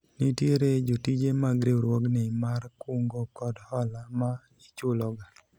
nitiere jotije mag riwruogni mar kungo kod hola ma ichulo ga